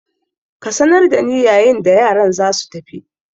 Ka sanar da ni yayin da yaran za su tafi!